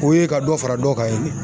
O ye ka dɔ fara dɔ kan ye.